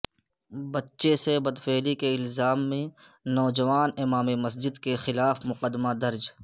بچے سے بدفعلی کے الزام میں نوجوان امام مسجد کے خلاف مقدمہ درج